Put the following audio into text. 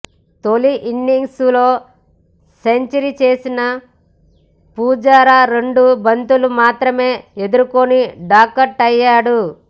తొలి ఇన్నింగ్స్ లో సెంచరీ చేసిన పుజారా రెండు బంతులు మాత్రమే ఎదుర్కొని డకౌటయ్యాడు